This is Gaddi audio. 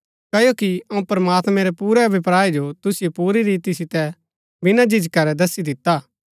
क्ओकि अऊँ प्रमात्मैं रै पुरै अभिप्राय जो तुसिओ पुरी रीति सितै बिना झिझका रै दस्सी दिता हा